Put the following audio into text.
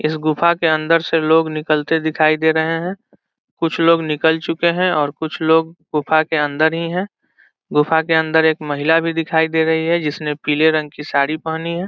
यह गुफा के अन्दर से लोग निकलते दिखाई दे रहे है कुछ लोग निकल चुके है और कुछ लोग गुफा के अन्दर ही है गुफा के अन्दर एक महिला भी दिखाई दे रही है जिसने पीले रंग के साड़ी पहनी है।